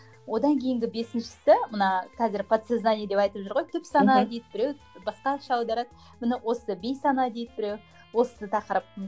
одан кейінгі бесіншісі мына қазір подсознание деп айтып жүр ғой түпсана дейді біреу басқаша аударады міне осы бейсана дейді біреу осы тақырып